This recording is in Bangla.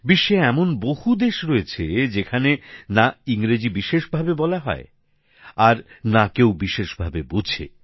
বিশ্বে এমন বহু দেশ রয়েছে যেখানে ইংরাজি না বিশেষ বলা হয় না কেউ বিশেষ বোঝে